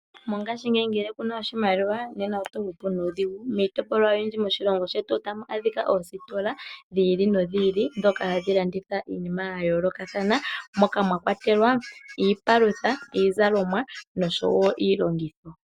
Mongashingeyi ngele kuna oshimaliwa nena oto hupu nuudhigu. Miitopolwa oyindji moshilongo shetu otamu adhika oositola dhi ili nodhi ili dhoka hadhi landitha iinima yayoolokathana, moka mwakwatelwa iipalutha, iizalomwa nosho wo iilongitho.